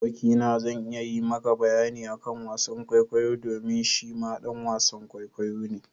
Aboki na zai iya yi ma ka bayani akan wasan kwaikwayo domin shi ma ɗan wasan kwaikwayo ne.